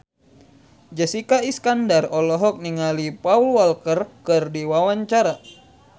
Jessica Iskandar olohok ningali Paul Walker keur diwawancara